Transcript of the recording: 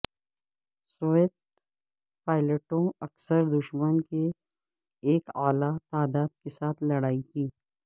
Soviet پائلٹوں اکثر دشمن کے ایک اعلی تعداد کے ساتھ لڑائی کی